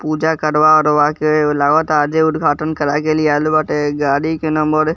पूजा करवा-उरवा के लगोता आजे उद्घाटन कराके लियाल बाटे गाड़ी के नंबर --